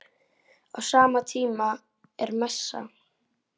Á sama tíma er messa.